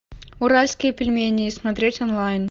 уральские пельмени смотреть онлайн